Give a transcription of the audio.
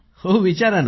हो विचारा ना